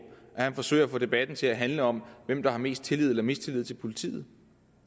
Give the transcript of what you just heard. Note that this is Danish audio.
at han forsøger at få debatten til at handle om hvem der har mest tillid eller mistillid til politiet